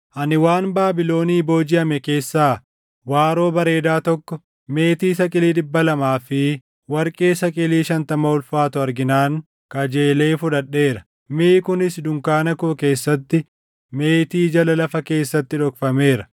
Ani waan Baabilonii boojiʼame keessaa waaroo bareedaa tokko, meetii saqilii dhibba lamaa fi warqee saqilii shantama ulfaatu arginaan kajeelee fudhadheera. Miʼi kunis dunkaana koo keessatti meetii jala lafa keessatti dhokfameera.”